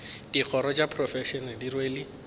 dikgoro tša profense di rwele